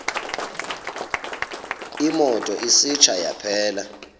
imoto isitsha yaphela